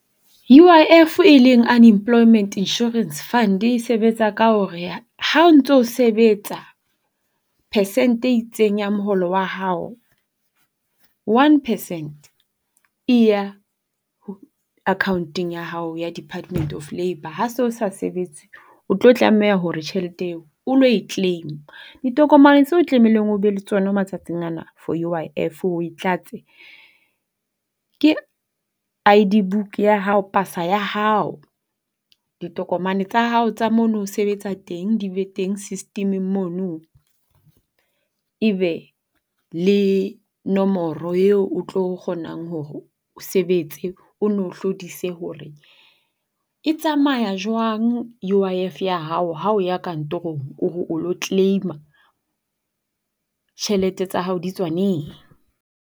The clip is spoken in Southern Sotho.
U_I_F e leng Unemployment Insurance Fund, e sebetsa ka hore ha o ntso sebetsa percent e itseng ya moholo wa hao, one percent e ya akhaonteng ya hao ya Department of Labour. Ha o so sa sebetse, o tlo tlameha hore tjhelete eo o lo e claim-a. Ditokomane tseo tlamehileng o be le tsona matsatsing ana for U_I_F o e tlatse ke I_D book ya hao, pasa ya hao. Ditokomane tsa hao tsa mo no sebetsa teng di be teng system-eng mono. E be le nomoro eo o tlo kgonang hore o sebetse ono hlodise hore e tsamaya jwang U_I_F ya hao ha o ya kantorong o re o lo claim-a tjhelete tsa hao di tswa neng.